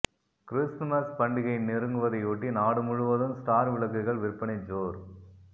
Christmas பண்டிகை நெருங்குவதையொட்டி நாடு முழுவதும் ஸ்டார் விளக்குகள் விற்பனை ஜோர்